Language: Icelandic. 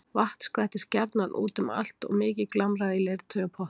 Vatn skvettist gjarnan út um allt og mikið glamraði í leirtaui og pottum.